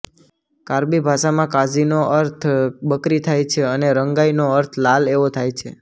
કાર્બી ભાષામાં કાઝીનો અર્થ બકરી થાય છે અને રંગાઈ નો અર્થ લાલ એવો થાય છે